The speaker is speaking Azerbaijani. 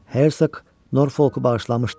Hersoq Norfolku bağışlamışdı.